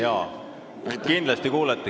Jaa, kindlasti kuulete.